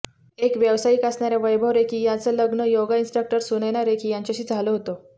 एक व्यावसायिक असणाऱ्या वैभव रेखी यांचं लग्न योगा इंस्ट्रक्टर सुनयना रेखी यांच्याशी झालं होतं